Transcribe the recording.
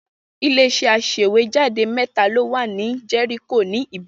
Ilé-iṣẹ́ aṣèwéjádé mẹ́ta ló wà ní Jẹ́ríkò ní Ìbàdàn.